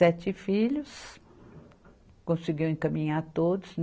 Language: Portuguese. Sete filhos, conseguiu encaminhar todos.